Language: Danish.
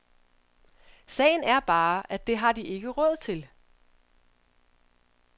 Sagen er bare, at det har de ikke råd til.